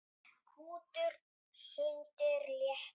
Kútur sundið léttir.